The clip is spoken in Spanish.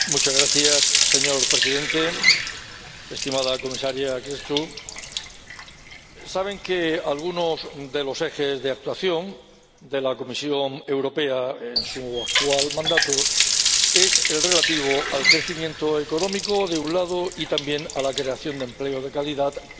Señor Presidente, estimada Comisaria Crețu, saben que algunos de los ejes de actuación de la Comisión Europea en su actual mandato son los relativos al crecimiento económico, de un lado, y también a la creación de empleo de calidad, por otro lado.